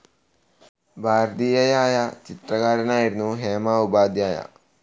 ഭാരതീയയായ ചിത്രകാരിയായിരുന്നു ഹേമ ഉപാധ്യായ.